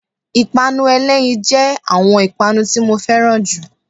ipanú elẹyín jẹ awọn ipanu tí mọ ferán jú mi.